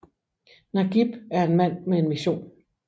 Nagieb er en mand med en mission